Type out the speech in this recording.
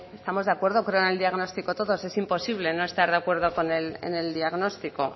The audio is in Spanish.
estamos de acuerdo con el diagnóstico todos es imposible no estar de acuerdo en el diagnóstico